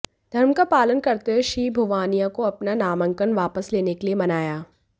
धर्म का पालन करते हुए श्री भुवानिया को अपना नामांकन वापस लेने के लिए मनाया